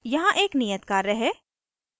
यहाँ एक नियत कार्य है